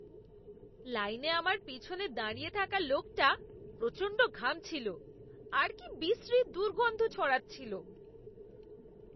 লাইনে আমার পিছনে দাঁড়িয়ে থাকা লোকটা প্রচণ্ড ঘামছিল আর কি বিশ্রী দুর্গন্ধ ছড়াচ্ছিল!